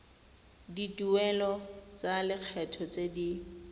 dituelo tsa lekgetho tse di